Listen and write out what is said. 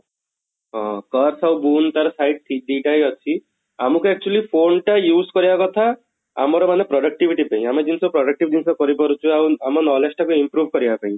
ହଁ curse ଆଉ ତାର side ଦିଟା ହିଁ ଅଛି ଆମକୁ actually phone ଟା use କରିବା କଥା ଆମର ମାନେ productivity ପାଇଁ ଆମେ ଜିନିଷ productive ଜିନିଷ କରିପାରୁଛୁ ଆଉ ଆମ knowledge ଟା ବି improve କରିବା ପାଇଁ